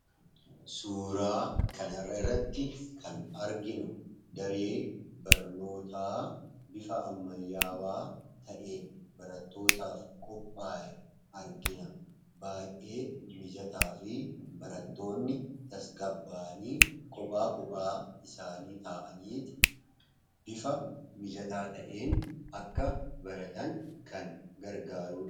Suuraa kanarra irratti kan arginu daree barnootaa bifa ammayaawaa ta'een baratootaaf qophaa'ee argina baay'ee mijataa fi barattoonni tasgaba'anii kophaa kophaa isaanii ta'aniiti bifa mijataa ta'een akka baratan kan gargaarudha.